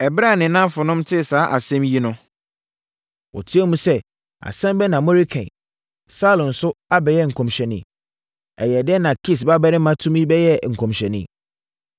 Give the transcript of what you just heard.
Ɛberɛ a ne nnamfonom tee saa asɛm yi no, wɔteaam sɛ, “Asɛm bɛn na moreka yi? Saulo nso abɛyɛ nkɔmhyɛni? Ɛyɛɛ dɛn na Kis babarima tumi bɛyɛɛ nkɔmhyɛni?”